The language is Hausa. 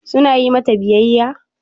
Su na yi mata biyayya?